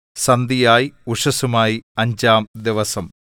സന്ധ്യയായി ഉഷസ്സുമായി അഞ്ചാം ദിവസം